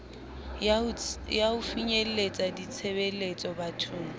ya ho finyeletsa ditshebeletso bathong